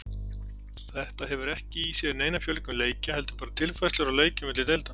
Þetta hefur ekki í sér neina fjölgun leikja heldur bara tilfærslur á leikjum milli deilda.